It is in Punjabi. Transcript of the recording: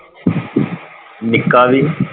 ਨਿੱਕਾ ਵੀ,